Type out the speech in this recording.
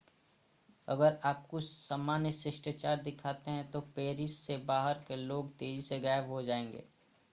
अगर आप कुछ सामान्य शिष्टाचार दिखाते हैं तो पेरिस से बाहर के लोग तेजी से गायब हो जाएंगे